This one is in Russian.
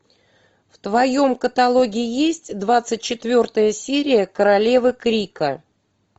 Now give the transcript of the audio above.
в твоем каталоге есть двадцать четвертая серия королевы крика